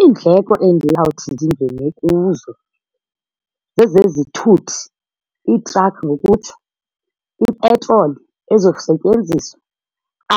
Iindleko endiyawuthi ndingene kuzo zezezithuthi, iitrakhi ngokutsho, ipetroli ezokusetyenziswa,